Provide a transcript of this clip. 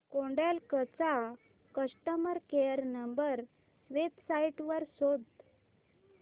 Kodak चा customer care number website वर शोध